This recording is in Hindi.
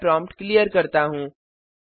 मैं प्रॉम्प्ट क्लियर करता हूँ